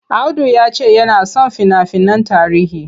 Audu ya ce yana son fina-finan tarihi.